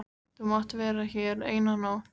Þú mátt vera hér eina nótt.